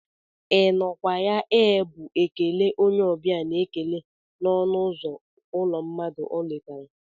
I nọ kwa ya ee bụ ekele onye ọbịa n'ekele n'ọnụ uzo ụlọ mmadụ ọ letara.